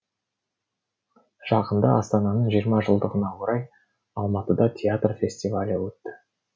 жақында астананың жиырма жылдығына орай алматыда театр фестивалі өтті